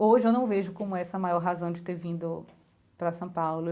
Hoje eu não vejo como essa a maior razão de ter vindo para São Paulo.